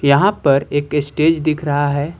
यहां पर एक स्टेज दिख रहा है।